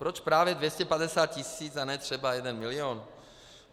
Proč právě 250 tisíc a ne třeba jeden milion?